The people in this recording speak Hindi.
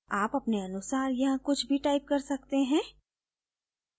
आप अपने अनुसार यहाँ कुछ भी type कर सकते हैं